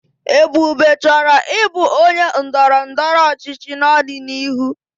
Ebube chọrọ ịbụ onye ndọrọ ndọrọ ọchịchị n'ọdịnihu.